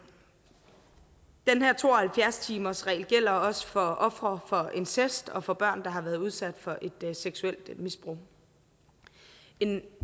her to og halvfjerds timersregel gælder også for ofre for incest og for børn der har været udsat for et seksuelt misbrug en